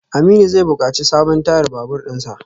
Aminu zai bukaci sabon tayar babur dinsa.